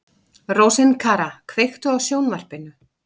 Rósinkara, kveiktu á sjónvarpinu.